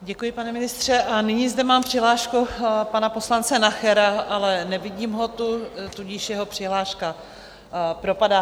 Děkuji, pane ministře, a nyní zde mám přihlášku pana poslance Nachera, ale nevidím ho tu, tudíž jeho přihláška propadá.